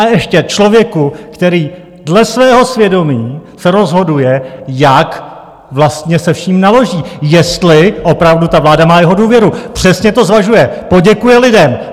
A ještě člověku, který dle svého svědomí se rozhoduje, jak vlastně se vším naloží, jestli opravdu ta vláda má jeho důvěru, přesně to zvažuje, poděkuje lidem.